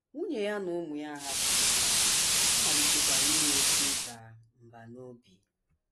Nwunye ya na ụmụ ya ahapụwo ya, ọ malitekwara inwe oké ịda mbà n’obi.